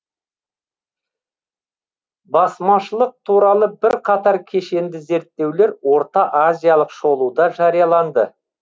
басмашылық туралы бірқатар кешенді зерттеулер орта азиялық шолуда жарияланды